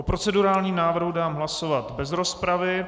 O procedurálním návrhu dám hlasovat bez rozpravy.